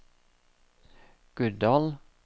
Guddal